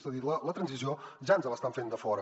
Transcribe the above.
és a dir la transició ja ens l’estan fent de fora